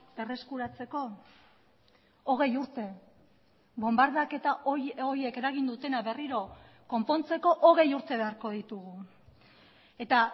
berreskuratzeko hogei urte bonbardaketa horiek eragin dutena berriro konpontzeko hogei urte beharko ditugu eta